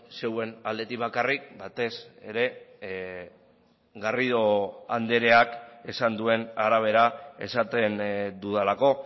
zeuen aldetik bakarrik batez ere garrido andreak esan duen arabera esaten dudalako